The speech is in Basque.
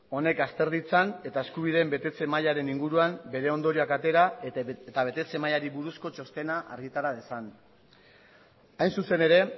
honek azter ditzan eta eskubideen betetze mailaren inguruan bere ondorioak atera eta betetze mailari buruzko txostena argitara dezan hain zuzen ere